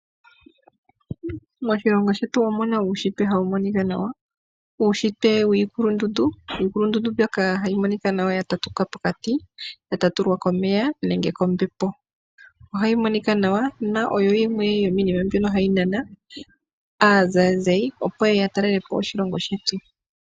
Moshilongo shetu omuna uushitwe hawu monika nawa ,uushitwe wiilulundundu iikulundundu mbyoka hayi monika nawa ya tatuka pokati ya tatulwa komeya nenge kombepo ohayi monika nawa na oyo yimwe yomiinima mbyoka hayi nana aazayizayi opo yeye ya talele po oshilongo shetu.